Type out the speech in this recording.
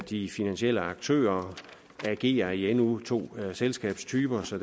de finansielle aktører agere i endnu to selskabstyper så